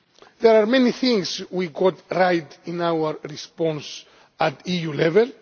There are many things we could write in our response at EU level.